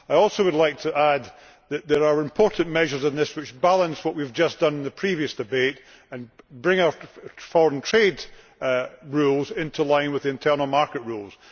I should also like to add that there are important measures in this which balance what we have just done in the previous debate and bring our foreign trade rules into line with the internal market rules.